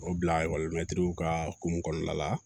O bila ekɔlimɛtiriw ka kumba la